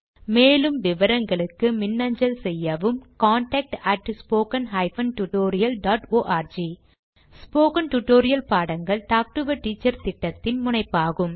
மேலும் விவரங்களுக்கு மின்னஞ்சல் செய்யவும் contactspoken tutorialorg ஸ்போகன் டுடோரியல் பாடங்கள் டாக் டு எ டீச்சர் திட்டத்தின் முனைப்பாகும்